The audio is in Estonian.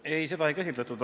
Ei, seda ei käsitletud.